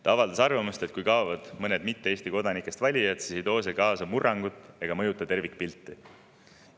Ta avaldas arvamust, et kui mõned mitte Eesti kodanikest valijad, siis ei too see kaasa murrangut ega mõjuta tervikpilti.